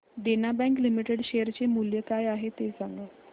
देना bank limited share चे मूल्य काय आहे हे सांगा